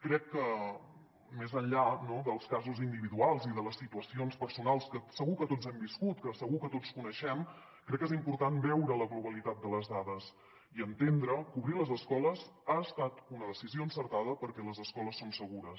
crec que més enllà no dels casos individuals i de les situacions personals que segur que tots hem viscut que segur que tots coneixem crec que és important veure la globalitat de les dades i entendre que obrir les escoles ha estat una decisió encertada perquè les escoles són segures